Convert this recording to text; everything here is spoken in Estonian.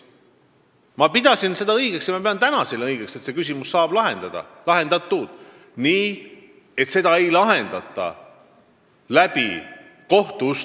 Ma pidasin õigeks lahendada selle küsimuse mitte kohtuuksi kulutades, vaid kiriku ja riigi koostöös.